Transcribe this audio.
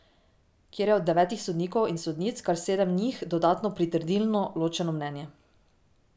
Kjer je od devetih sodnikov in sodnic kar sedem njih dodatno pritrdilno ločeno mnenje.